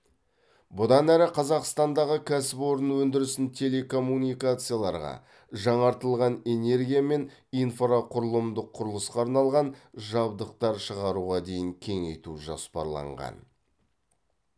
бұдан әрі қазақстандағы кәсіпорын өндірісін телекоммуникацияларға жаңартылған энергия мен инфрақұрылымдық құрылысқа арналған жабдықтар шығаруға дейін кеңейту жоспарланған